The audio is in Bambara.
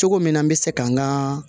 Cogo min na n bɛ se kan ka